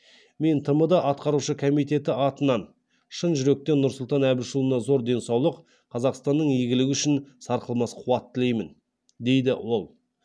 мен тмд атқарушы комитеті атынан шын жүректен нұрсұлтан әбішұлына зор денсаулық қазақстанның игілігі үшін сарқылмас қуат тілеймін дейді ол